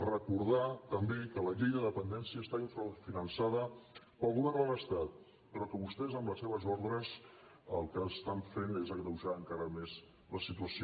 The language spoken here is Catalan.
recordar també que la llei de dependència està infrafinançada pel govern de l’estat però que vostès amb les seves ordres el que estan fent és agreujar encara més la situació